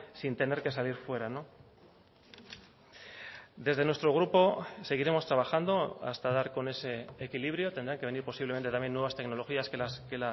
sin tener que salir fuera desde nuestro grupo seguiremos trabajando hasta dar con ese equilibrio tendrán que venir posiblemente también nuevas tecnologías que